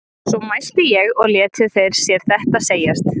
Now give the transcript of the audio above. svo mælti ég og létu þeir sér þetta segjast